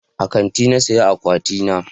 A kanti na saya akwati na